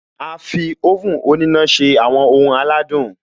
A fi oven òníná se àwọn ohun aládùn